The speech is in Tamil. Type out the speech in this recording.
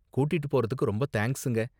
கூட்டிட்டு போறதுக்கு ரொம்ப தேங்க்ஸுங்க.